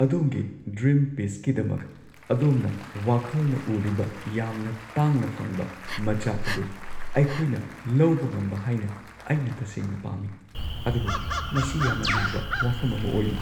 ꯑꯗꯣꯝꯒꯤ ꯗ꯭ꯔꯤꯝ ꯄꯤꯁꯀꯤꯗꯃꯛ ꯑꯗꯣꯝꯅ ꯋꯥꯈꯜꯅ ꯎꯔꯤꯕ ꯌꯥꯝꯅ ꯇꯥꯡꯅ ꯐꯪꯕ ꯃꯆꯥꯛ ꯑꯗꯨ ꯑꯩꯈꯣꯏꯅ ꯂꯧꯕ ꯉꯝꯕ ꯍꯥꯏꯅ ꯑꯩꯅ ꯇꯁꯦꯡꯅ ꯄꯥꯝꯃꯤ, ꯑꯗꯨꯕꯨ ꯃꯁꯤ ꯌꯥꯝꯅ ꯂꯨꯕ ꯋꯥꯐꯝ ꯑꯃ ꯑꯣꯏꯔꯤ꯫